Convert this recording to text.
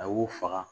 A y'u faga